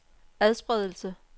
adspredelse